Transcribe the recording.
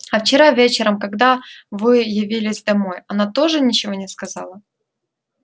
а вчера вечером когда вы явились домой она тоже ничего не сказала